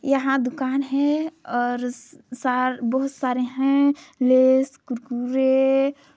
यहाँ दुकान है और सार बहुत सारे है लेस कुरकुरे--